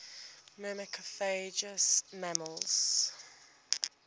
myrmecophagous mammals